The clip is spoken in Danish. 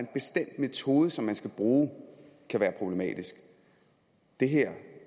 bestemt metode som man skal bruge kan være problematisk det her